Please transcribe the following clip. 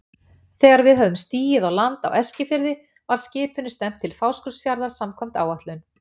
Þegar við höfðum stigið á land á Eskifirði var skipinu stefnt til Fáskrúðsfjarðar samkvæmt áætlun.